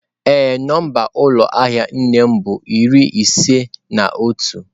Ee, nọmba ụlọ ahịa nne m bu iri ise na otu.